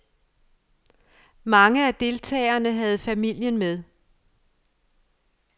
Mange af deltagerne havde familien med.